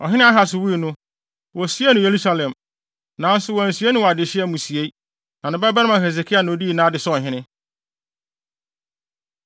Ɔhene Ahas wui no, wosiee no Yerusalem, nanso wɔansie no wɔ adehye amusiei. Ne babarima Hesekia na odii nʼade sɛ ɔhene.